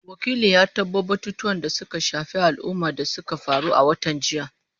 Wakilin ya tabo batutuwan da suka shafi al’umma da suka faru a watan jiya.